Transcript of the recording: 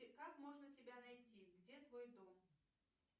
как можно тебя найти где твой дом